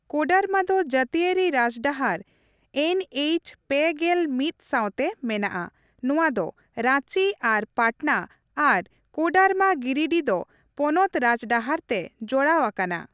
ᱠᱳᱰᱟᱨᱢᱟ ᱫᱚ ᱡᱟᱹᱛᱤᱭᱟᱹᱨᱤ ᱨᱟᱡᱽᱰᱟᱦᱟᱨ ᱮᱱᱹᱮᱪ ᱓᱑ ᱥᱟᱶᱛᱮ ᱢᱮᱱᱟᱜᱼᱟ ᱱᱚᱣᱟ ᱫᱚ ᱨᱟᱺᱪᱤ ᱟᱨ ᱯᱟᱴᱱᱟ ᱟᱨ ᱠᱳᱰᱟᱨᱢᱟ ᱜᱤᱨᱤᱰᱤᱦ ᱫᱚ ᱯᱚᱱᱚᱛ ᱨᱟᱡᱽᱰᱟᱦᱟᱨ ᱛᱮ ᱡᱚᱲᱟᱣ ᱟᱠᱟᱱᱟ ᱾